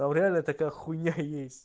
там реально такая хуйня есть